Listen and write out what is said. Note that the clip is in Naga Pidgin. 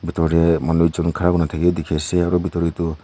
manu ekjun khara kurina thaka bi dekhi ase aro bitor tey toh--